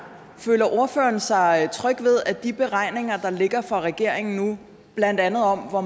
føler ordføreren sig tryg ved de beregninger der ligger for regeringen nu blandt andet om hvor